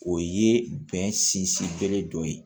O ye bɛn sinsin bere dɔ ye